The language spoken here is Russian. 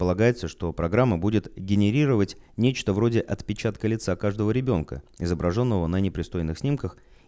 полагается что программа будет генерировать нечто вроде отпечатка лица каждого ребёнка изображённого на непристойных снимках